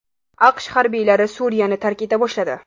AQSh harbiylari Suriyani tark eta boshladi.